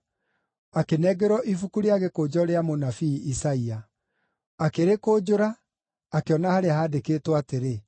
Akĩnengerwo ibuku rĩa gĩkũnjo rĩa mũnabii Isaia. Akĩrĩkũnjũra, akĩona harĩa handĩkĩtwo atĩrĩ: